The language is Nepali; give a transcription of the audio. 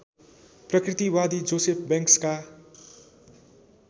प्रकृतिवादी जोसेफ बैंक्सका